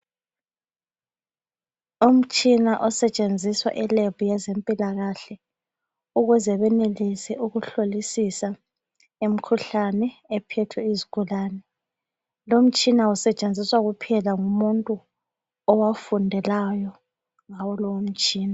Umtshina osetshenziswa e lab yezempilakahle ukuze benelise ukuhlolisisa imkhuhlane ephethe isgulane. Lo mtshina usetshenziswa kuphela ngumuntu owafundelayo ngawo lowo mtshina.